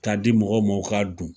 Ka di mɔgɔw ma u ka dun.